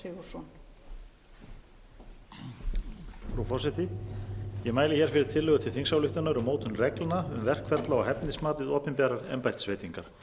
frú forseti ég mæli hér fyrir tillögu til þingsályktunar um mótun reglna um verkferla og hæfnismat við opinberar embættisveitingar